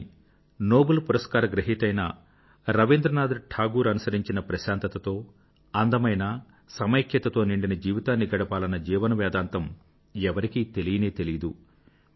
కానీ నోబుల్ పురస్కార గ్రహీత అయిన రవీంద్రనాథ్ టాగూర్ అనుసరించిన ప్రశాంతతతో అందమైన సమైక్యతతో నిండిన జీవితాన్ని గడపాలన్న జీవన వేదాంతం ఎవరికీ తెలియనే తెలియదు